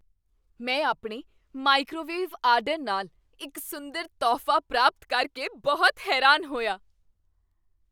ਮੈਂ ਆਪਣੇ microwave order ਨਾਲ ਇੱਕ ਸੁੰਦਰ ਤੋਹਫ਼ਾ ਪ੍ਰਾਪਤ ਕਰਕੇ ਬਹੁਤ ਹੈਰਾਨ ਹੋਇਆ।